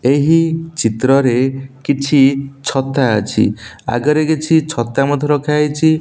ଏହି ଚିତ୍ରରେ କିଛି ଛତା ଅଛି। ଆଗରେ କିଛି ଛତା ମଧ୍ୟ ରଖା ହେଇଚି।